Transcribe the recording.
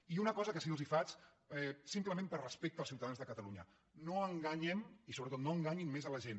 i una cosa que sí que els faig simplement per respecte als ciutadans de catalunya no enganyem i sobretot no enganyin més la gent